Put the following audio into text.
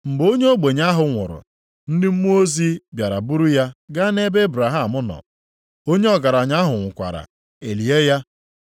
“Mgbe onye ogbenye ahụ nwụrụ, ndị mmụọ ozi bịara buru ya gaa nʼebe Ebraham nọ. Onye ọgaranya ahụ nwụkwara, e lie ya.